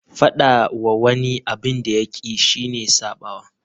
Faɗa wa wani abin da ya ƙi shi ne ya saɓawa.